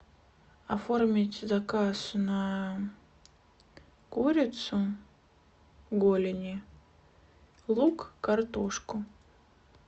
оформить заказ на курицу голени лук картошку